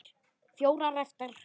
Fjórar eftir.